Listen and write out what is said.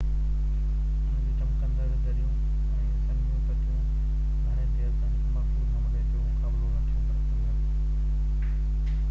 ان جون چمڪندڙ دريون ۽ سنهيون ڀتيون گهڻي دير تائين هڪ مضبوط حملي جو مقابلو نٿيون ڪري سگهن